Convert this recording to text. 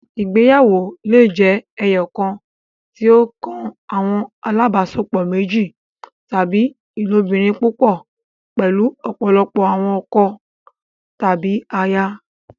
Ìgbéyàwó le jẹ ẹyọkan, tí o kan awọn alabaṣepọ méjì, tàbí ilobirin púpọ, pẹlu ọpọlọpọ awọn ọkọ tàbí àyà